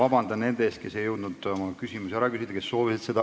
Ma palun vabandust nendelt, kes ei jõudnud küsida, kuid oleksid seda soovinud.